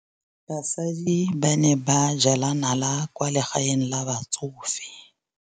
Basadi ba ne ba jela nala kwaa legaeng la batsofe.